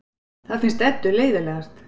Það finnst Eddu leiðinlegast.